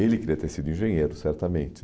Ele queria ter sido engenheiro, certamente.